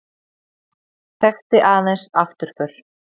Þekkti aðeins afturför.